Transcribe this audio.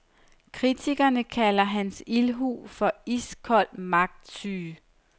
Kritikerne kalder hans ildhu for iskold magtsyge.